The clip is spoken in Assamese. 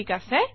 ঠিক আছে